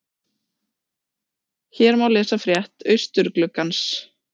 Hér má lesa frétt Austurgluggans